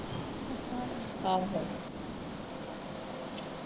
ਹਾਂ ਫਿਰ